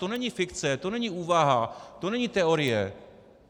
To není fikce, to není úvaha, to není teorie.